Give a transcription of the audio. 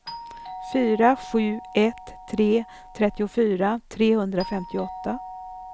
fyra sju ett tre trettiofyra trehundrafemtioåtta